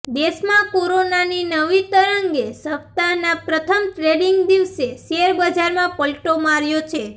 દેશમાં કોરોનાની નવી તરંગે સપ્તાહના પ્રથમ ટ્રેડિંગ દિવસે શેર બજારમાં પલટો માર્યો છે